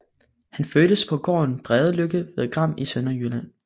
Han fødtes på gården Bredeløkke ved Gram i Sønderjylland